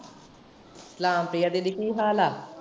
ਸਲਾਮ ਪ੍ਰਿਆ ਦੀਦੀ ਕੀ ਹਾਲ ਆ?